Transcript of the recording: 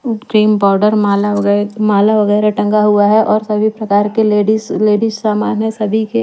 Cream powder माला वगैरह माला वगैरह टंगा हुआ है और सभी प्रकार के लेडिस लेडिस लेडिस सामान है सभी के।